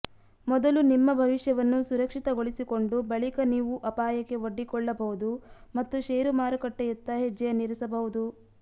ಮೊದಲು ನಿಮ್ಮ ಭವಿಷ್ಯವನ್ನು ಸುರಕ್ಷಿತಗೊಳಿಸಿಕೊಂಡು ಬಳಿಕ ನೀವು ಅಪಾಯಕ್ಕೆ ಒಡ್ಡಿಕೊಳ್ಳಬಹುದು ಮತ್ತು ಶೇರು ಮಾರುಕಟ್ಟೆಯತ್ತ ಹೆಜ್ಜೆಯನ್ನಿರಿಸಬಹುದು